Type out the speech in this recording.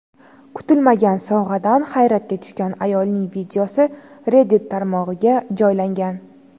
Kutilmagan sovg‘adan hayratga tushgan ayolning videosi Reddit tarmog‘iga joylangan .